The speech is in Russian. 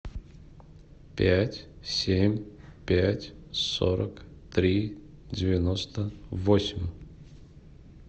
пять семь пять сорок три девяносто восемь